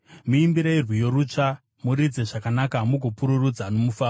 Muimbirei rwiyo rutsva; muridze zvakanaka, mugopururudza nomufaro.